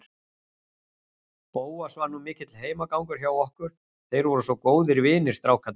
Bóas var nú mikill heimagangur hjá okkur, þeir voru svo góðir vinir, strákarnir.